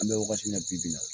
An bɛ wagati min na bi bi in na